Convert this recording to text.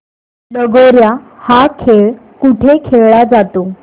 लगोर्या हा खेळ कुठे खेळला जातो